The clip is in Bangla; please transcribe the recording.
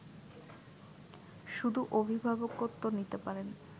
শুধু অভিভাবকত্ব নিতে পারেন